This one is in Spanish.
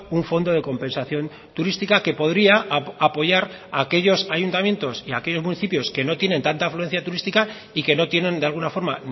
un fondo de compensación turística que podría apoyar a aquellos ayuntamientos y a aquellos municipios que no tienen tanta afluencia turística y que no tienen de alguna forma